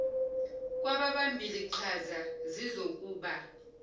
kwababambi liqhaza zizokuba